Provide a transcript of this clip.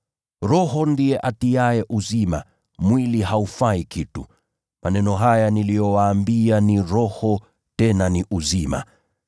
Roho ndiye atiaye uzima, mwili haufai kitu. Maneno haya niliyowaambia ni Roho tena ni uzima.